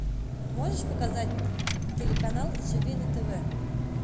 можешь показать телеканал живи на тв